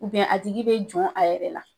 a tigi bɛ jɔn a yɛrɛ la